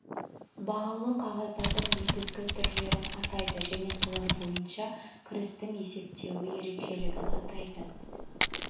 бағалы қағаздардың негізгі түрлерін атайды және солар бойынша кірістің есептеуі ерекшелігін атайды